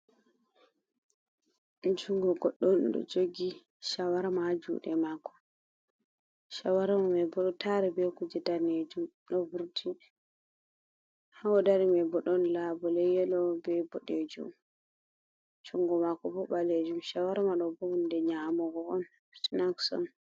Jungo goɗɗo on ɗo jogi shawarma ha juɗe mako, shawarma mai boɗo tari be kuje danejum ɗo vurti, ha odari mai bo ɗon labule danejum be yelo be boɗejum, jungo mako bo ɓalejum shawarma ɗoɓo hunɗe nyamogo on sinaks on.